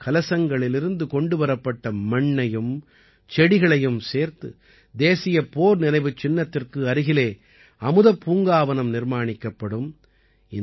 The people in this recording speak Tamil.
7500 கலசங்களிலிருந்து கொண்டு வரப்பட்ட மண்ணையும் செடிகளையும் சேர்த்து தேசியப் போர் நினைவுச் சின்னத்திற்கு அருகிலே அமுதப்பூங்காவனம் நிர்மாணிக்கப்படும்